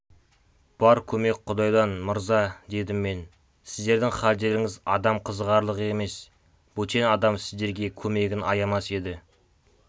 бар көмек құдайдан мырза дедім мен сіздердің халдеріңіз адам қызығарлық емес бөтен адам сіздерге көмегін аямас еді